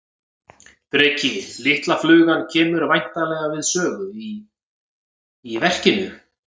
Breki: Litla flugan kemur væntanlega við sögu í, í verkinu?